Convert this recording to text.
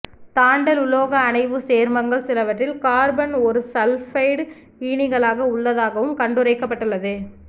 தாண்டல் உலோக அணைவுச் சேர்மங்கள் சிலவற்றில் கார்பன் ஒருசல்பைடு ஈனிகளாக உள்ளதாகவும் கண்டுரைக்கப்பட்டுள்ளது